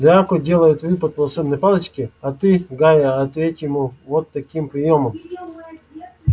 драко делает выпад волшебной палочкой а ты гарри ответь ему вот таким приёмом